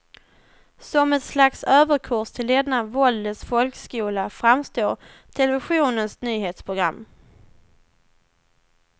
Som ett slags överkurs till denna våldets folkskola framstår televisionens nyhetsprogram.